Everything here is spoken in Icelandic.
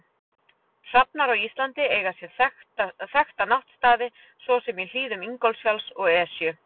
Hrafnar á Íslandi eiga sér þekkta náttstaði svo sem í hlíðum Ingólfsfjalls og Esju.